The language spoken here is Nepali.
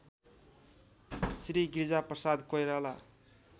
श्री गिरिजाप्रसाद कोइराला